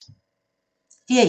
DR1